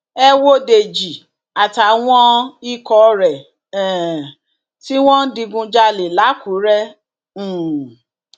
ẹ wo dèjì àtàwọn ikọ rẹ um tí wọn ń digunjalè lákùrẹ um